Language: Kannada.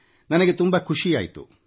ನನಗೆ ತುಂಬಾ ಸಂತೋಷವಾಯಿತು